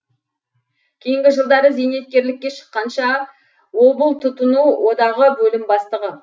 кейінгі жылдары зейнеткерлікке шыққанша облтұтыну одағы бөлім бастығы